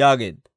yaageedda.